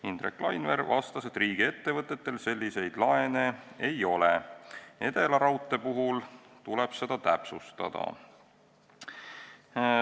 Indrek Laineveer vastas, et riigiettevõtetel selliseid laene ei ole, Edelaraudtee puhul tuleb seda täpsustada.